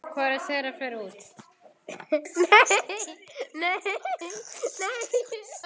Hvorugt þeirra fer út.